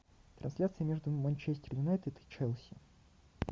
трансляция между манчестер юнайтед и челси